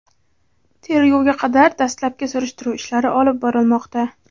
tergovga qadar dastlabki surishtiruv ishlari olib borilmoqda.